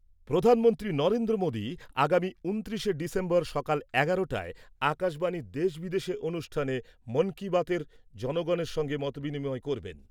প্রধানমন্ত্রী নরেন্দ্র মোদী আগামী ঊনত্রিশে ডিসেম্বর সকাল এগারোটায় আকাশবাণীর দেশবিদেশে অনুষ্ঠানে 'মন কি বাত' এর জনগণের সঙ্গে মতবিনিময় করবেন।